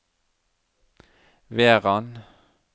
Verran